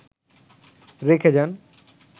রেখে যান